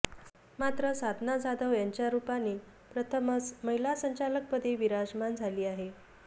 मात्र साधना जाधव यांच्या रुपाने प्रथमच महिला संचालकपदी विराजमान झाली आहे